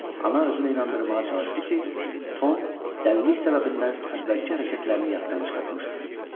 Ana özünü inandırmağa çalışdı ki, Tom dəlilik səbəbindən əvvəlki hərəkətlərini yaddan çıxartmışdı.